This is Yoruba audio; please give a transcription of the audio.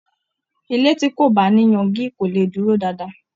ilé tí kò bá ní yangi kò lè dúró dáadáa.